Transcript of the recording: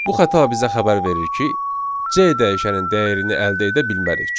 Bu xəta bizə xəbər verir ki, C dəyişənin dəyərini əldə edə bilmərik.